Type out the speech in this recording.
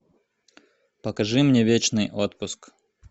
покажи мне вечный отпуск